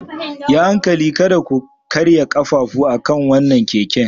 Yi hankali kada ku karya ƙafafu akan wannan keken.